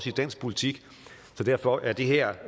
i dansk politik så derfor er det her